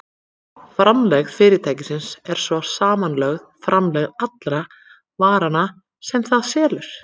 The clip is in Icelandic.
Framlegð fyrirtækisins er svo samanlögð framlegð allra varanna sem það selur.